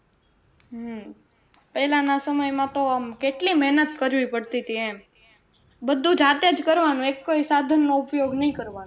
હમ પહેલા ના સમય માં તો આમ કેટલી મહેનત કરવી પડતી તી એમ બધું જાતે જ કરવાનું એકેય સાધન નો ઉપયોગ નઈ કરવાનો